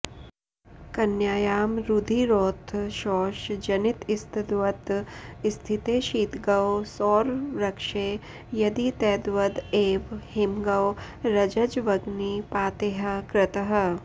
कन्यायां रुधिरोत्थ शोष जनितस्तद्वत् स्थिते शीतगौ सौरऋक्षे यदि तद्वद् एव हिमगौ रज्ज्वग्नि पातैः कृतः